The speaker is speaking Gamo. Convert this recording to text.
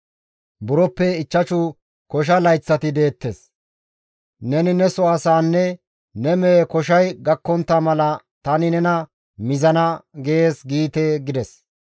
Buroppe ichchashu kosha layththati deettes; nena neso asaanne ne mehe koshay gakkontta mala tani nena mizana› gees giite» gides.